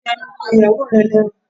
Fi ẹnu ko ìyàwó rẹ lẹ́nu!